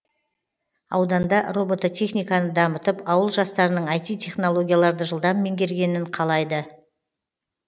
ауданда роботехниканы дамытып ауыл жастарының іт технологияларды жылдам меңгергенін қалайды